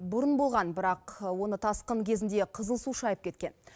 бұрын болған бірақ оны тасқын кезінде қызыл су шайып кеткен